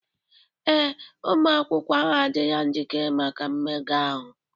Ee, ụmụ akwụkwọ ahụ adịla njikere maka mmega ahụ